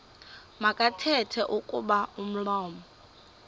makathethe kuba umlomo